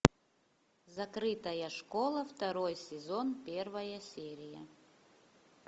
закрытая школа второй сезон первая серия